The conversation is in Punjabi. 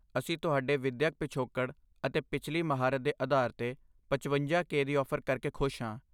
ਅਸੀਂ ਤੁਹਾਡੇ ਵਿਦਿਅਕ ਪਿਛੋਕੜ ਅਤੇ ਪਿਛਲੀ ਮਹਾਰਤ ਦੇ ਆਧਾਰ 'ਤੇ ਪਚਵੰਜਾ ਕੇ ਦੀ ਔਫ਼ਰ ਕਰਕੇ ਖੁਸ਼ ਹਾਂ